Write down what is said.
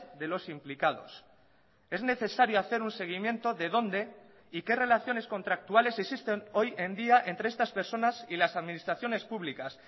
de los implicados es necesario hacer un seguimiento de dónde y qué relaciones contractuales existen hoy en día entre estas personas y las administraciones públicas